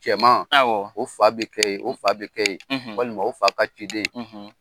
Cɛman , awɔ, o fa bɛ kɛ yen , o fa bɛ kɛ yen walima o fa ka ciden, .